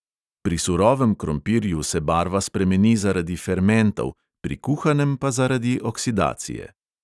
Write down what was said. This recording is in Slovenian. Pri surovem krompirju se barva spremeni zaradi fermentov, pri kuhanem pa zaradi oksidacije.